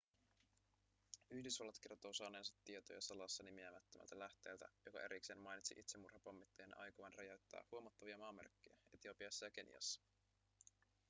yhdysvallat kertoo saaneensa tietoja salassa nimeämättömältä lähteeltä joka erikseen mainitsi itsemurhapommittajien aikovan räjäyttää huomattavia maamerkkejä etiopiassa ja keniassa